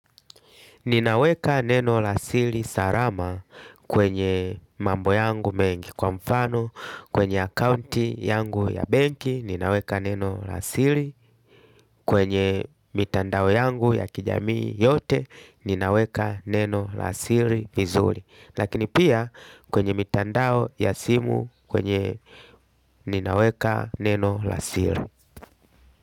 Ninaweka neno la sili sarama kwenye mambo yangu mengi, kwa mfano kwenye akaunti yangu ya banki ninaweka neno la siri, kwenye mitandao yangu ya kijamii yote ninaweka neno la siri vizuri, lakini pia kwenye mitandao ya simu kwenye ninaweka neno la sili.